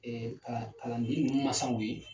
Ɛɛ kalan kalanden nunun masaw ye